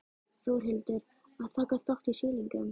Þórhildur: Að taka þátt í sýningum?